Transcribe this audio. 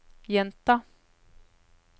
gjenta